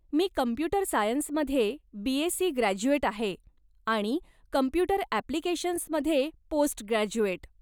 मी computer सायन्समध्ये BSc. Graduate आहे आणि कंप्युटर अॅप्लीकेशन्समध्ये पोस्टग्रॅज्युएट.